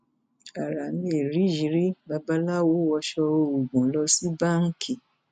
ara mẹrìyírí babaláwo wọṣọ oògùn lọ sí báńkì